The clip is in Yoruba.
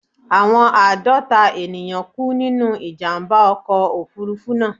Àwọn àádọ́ta ènìyàn kú nínú ìjàmbá ọkọ̀ Òfurufú náà.